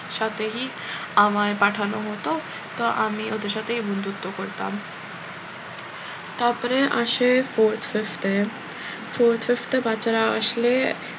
সাথেহি আমায় পাঠানো হতো তো আমি ওদের সাথেই বন্ধুত্ব করতাম তারপরে আসে fourth fifth এ fourth fifth এ বাচ্চারা আসলে